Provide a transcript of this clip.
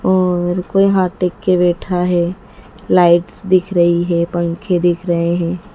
और कोई हाथ देख के बैठा है लाइट्स दिख रही है पंखे दिख रहे हैं।